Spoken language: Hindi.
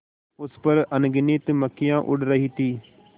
उस पर अनगिनत मक्खियाँ उड़ रही थीं